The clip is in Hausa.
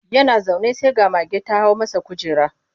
Yana zaune sai ga mage ta hau masa kujera.